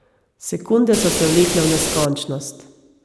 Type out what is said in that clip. Sekunde so se vlekle v neskončnost.